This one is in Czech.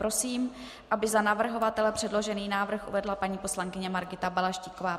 Prosím, aby za navrhovatele předložený návrh uvedla paní poslankyně Margita Balaštíková.